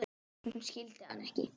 Hún skildi hann ekki.